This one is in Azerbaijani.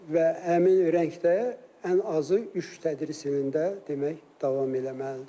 və həmin rəngdə ən azı üç tədris ilində demək davam eləməlidir.